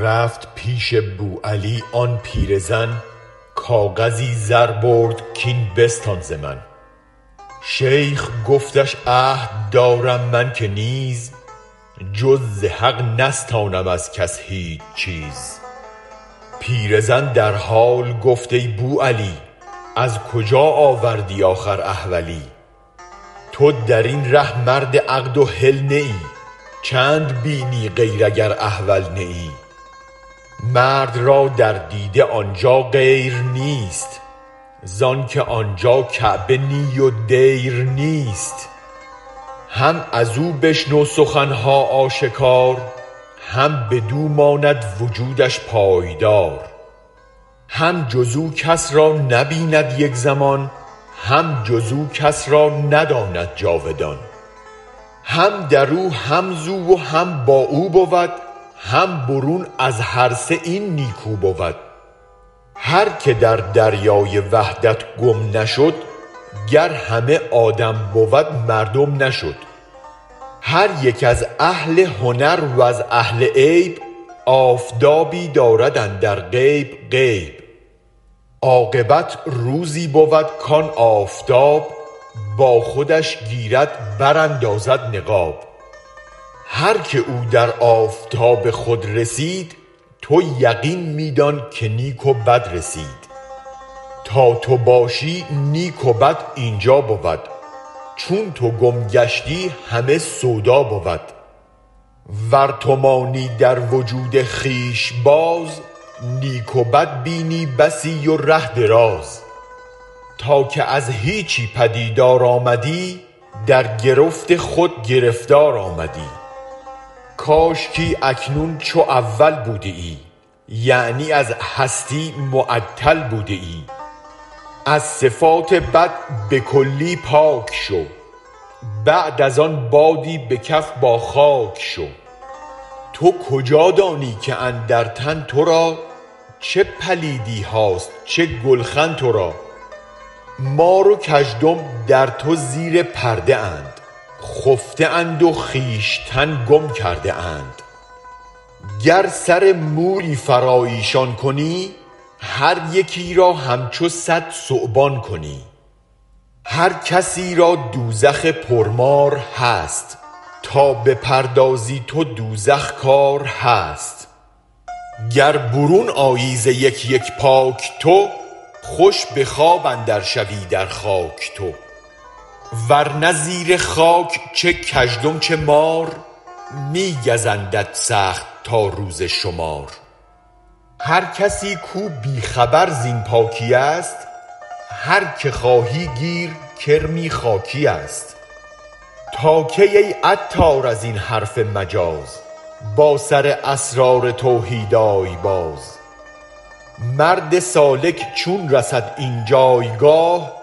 رفت پیش بوعلی آن پیر زن کاغذی زر برد کین بستان ز من شیخ گفتش عهد دارم من که نیز جز ز حق نستانم از کس هیچ چیز پیرزن در حال گفت ای بوعلی از کجا آوردی آخر احولی تو درین ره مرد عقد و حل نه ای چند بینی غیر اگر احول نه ای مرد را در دیده آنجا غیر نیست زانک آنجا کعبه نی و دیر نیست هم ازو بشنو سخنها آشکار هم بدو ماند وجودش پایدار هم جزو کس را نبیند یک زمان هم جزو کس رانداند جاودان هم درو هم زو و هم با او بود هم برون از هرسه این نیکو بود هرک در دریای وحدت گم نشد گر همه آدم بود مردم نشد هر یک از اهل هنر وز اهل عیب آفتابی دارد اندر غیب غیب عاقبت روزی بود کان آفتاب با خودش گیرد براندازد نقاب هرک او در آفتاب خود رسید تو یقین می دان که نیک و بد رسید تا تو باشی نیک و بد اینجا بود چون تو گم گشتی همه سودا بود ور تو مانی در وجود خویش باز نیک و بد بینی بسی و ره دراز تا که از هیچی پدیدار آمدی درگرفت خود گرفتار آمدی کاشکی اکنون چو اول بودیی یعنی از هستی معطل بودیی از صفات بد به کلی پاک شو بعد از آن بادی به کف با خاک شو تو کجا دانی که اندر تن ترا چه پلیدیهاست چه گلخن ترا مار و کژدم در تو زیر پرده اند خفته اند و خویشتن گم کرده اند گر سر مویی فراایشان کنی هر یکی را همچو صد ثعبان کنی هر کسی را دوزخ پر مار هست تا بپردازی تو دوزخ کار هست گر برون آیی ز یک یک پاک تو خوش به خواب اندر شوی در خاک تو ورنه زیر خاک چه کژدم چه مار می گزندت سخت تا روز شمار هر کسی کو بی خبر زین پاکیست هرکه خواهی گیر کرمی خاکیست تاکی ای عطار ازین حرف مجاز با سر اسرارتوحید آی باز مرد سالک چون رسد این جایگاه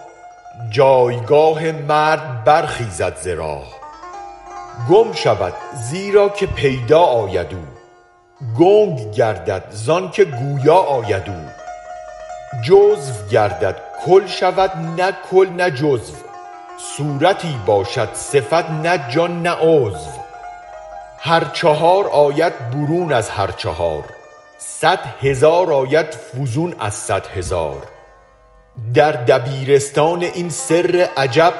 جایگاه مرد برخیزد ز راه گم شود زیرا که پیدا آید او گنگ گردد زانک گویا آید او جزو گردد کل شود نه کل نه جزو صورتی باشد صفت نه جان نه عضو هر چهار آید برون از هر چهار صد هزار آید فزون از صد هزار در دبیرستان این سر عجب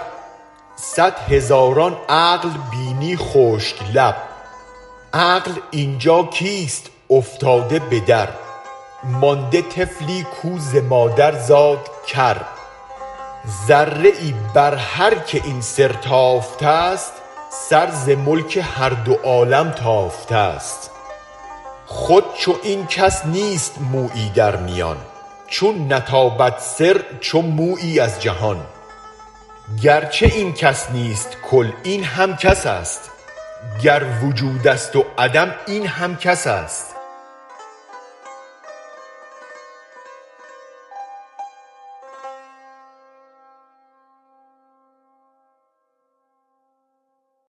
صد هزاران عقل بینی خشک لب عقل اینجا کیست افتاده بدر مانده طفلی کو ز مادر زاد کر ذره ای برهرک این سر تافتست سر ز ملک هر دو عالم تافتست خود چو این کس نیست مویی در میان چون نتابد سر چو مویی از جهان گرچه این کس نیست کل این هم کس است گر وجودست وعدم هم این کس است